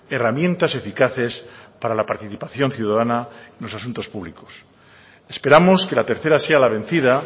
herramientas eficaces para la participación ciudadana en los asuntos públicos esperamos que a la tercera sea la vencida